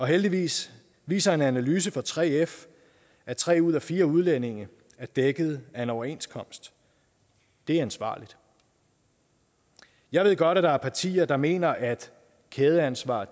heldigvis viser en analyse fra 3f at tre ud af fire udlændinge er dækket af en overenskomst det er ansvarligt jeg ved godt at der er partier der mener at kædeansvar